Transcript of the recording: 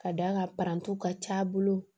Ka d'a kan parantiw ka c'a bolo